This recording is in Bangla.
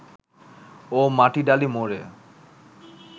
ও মাটিডালি মোড়ে